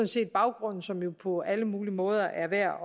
set baggrunden som det jo på alle mulige måder er værd